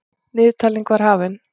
Niðurtalningin var hafin.